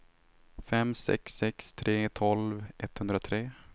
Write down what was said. fem sex sex tre tolv etthundratre